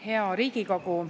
Hea Riigikogu!